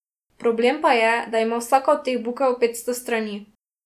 Problem pa je, da ima vsaka od teh bukel petsto strani.